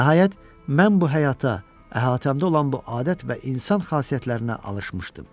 Nəhayət, mən bu həyata, əhatəmdə olan bu adət və insan xasiyyətlərinə alışmışdım.